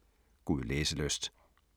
God læselyst.